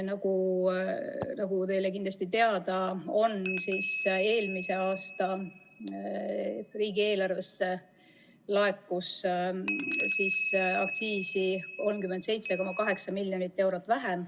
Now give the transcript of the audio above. Nagu teile kindlasti teada on, laekus eelmise aasta riigieelarvesse aktsiisi 37,8 miljonit eurot vähem ...